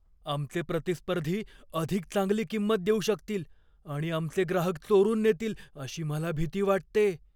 आमचे प्रतिस्पर्धी अधिक चांगली किंमत देऊ शकतील आणि आमचे ग्राहक चोरून नेतील अशी मला भीती वाटते.